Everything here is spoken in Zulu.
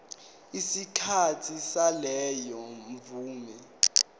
isikhathi saleyo mvume